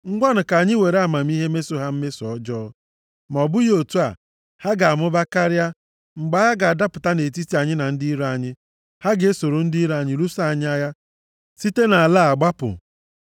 Ngwanụ, ka anyị were amamihe meso ha mmeso ọjọọ, ma ọ bụghị otu a, ha ga-amụba karịa, mgbe agha ga-adapụta nʼetiti anyị na ndị iro anyị, ha ga-esoro ndị iro anyị lụso anyị agha, site nʼala a gbapụ.”